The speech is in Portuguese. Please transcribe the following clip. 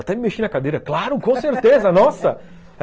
Até me mexi na cadeira, claro, com certeza, nossa!